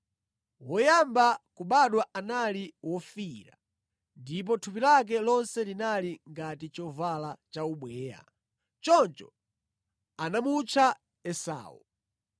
Woyamba kubadwa anali wofiira, ndipo thupi lake lonse linali ngati chovala cha ubweya; choncho anamutcha Esau.